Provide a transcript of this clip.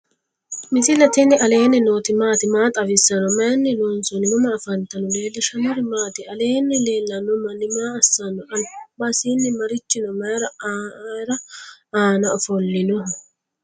misile tini alenni nooti maati? maa xawissanno? Maayinni loonisoonni? mama affanttanno? leelishanori maati? alenni lelano mani maa asanoho? albansani marichi no?mayia anna ofolinoho?